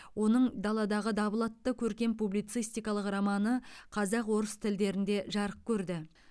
оның даладағы дабыл атты көркем публицистикалық романы қазақ орыс тілдерінде жарық көрді